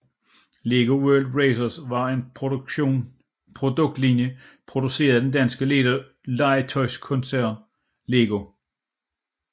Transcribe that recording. Lego World Racers var en produktlinje produceret af den danske legetøjskoncern LEGO